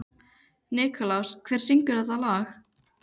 Nikulás, hver syngur þetta lag?